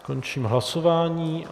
Končím hlasování.